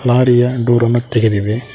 Lorry ಯ door ಅನ್ನು ತೆಗೆದಿದೆ.